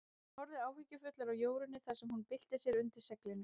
Hann horfði áhyggjufullur á Jórunni þar sem hún bylti sér undir seglinu.